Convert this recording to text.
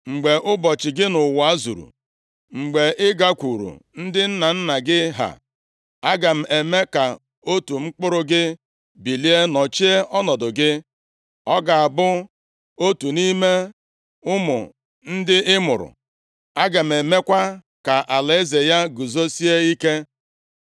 Mgbe ụbọchị gị nʼụwa zuru, mgbe ị gakwuru ndị nna nna gị ha, aga m eme ka otu mkpụrụ gị bilie nọchie ọnọdụ gị, ọ ga-abụ otu nʼime ụmụ ndị ị mụrụ. Aga m emekwa ka alaeze ya guzosie ike.